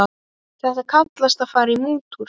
Þetta kallast að fara í mútur.